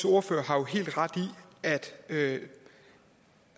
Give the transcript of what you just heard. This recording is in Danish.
ordfører har jo helt ret i at